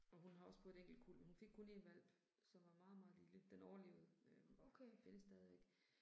Og hun har også fået et enkelt kuld, men hun fik kun én hvalp, som var meget meget lille. Den overlevede, øh findes stadigvæk